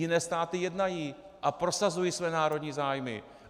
Jiné státy jednají a prosazují své národní zájmy!